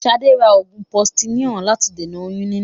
Ṣadé ra oògùn posiníọ̀ láti dènà oyún níní.